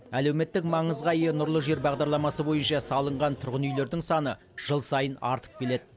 әлеуметтік маңызға ие нұрлы жер бағдарламасы бойынша салынған тұрғын үйлердің саны жыл сайын артып келеді